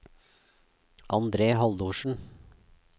Andre Haldorsen